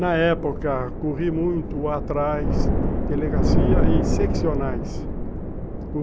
Na época, corri muito atrás de delegacia e seccionais.